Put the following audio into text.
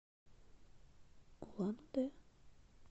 улан удэ